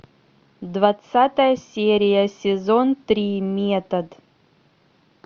двадцатая серия сезон три метод